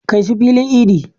Kai su filin idin.